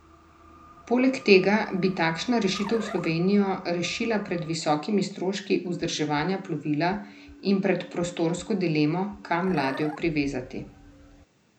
Poleg tega bi takšna rešitev Slovenijo rešila pred visokimi stroški vzdrževanja plovila in pred prostorsko dilemo, kam ladjo privezati.